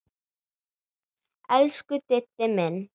Elsku Diddi minn.